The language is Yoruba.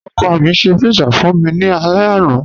Ọkọ mi ṣẹ̀ pizza fun mi ni àlẹ̀ àná.